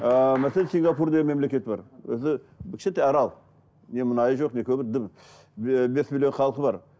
ыыы мәселе сингапур деген мемлекет бар өзі кішкентай арал не мұнайы жоқ не көмір дым бес миллион халқы бар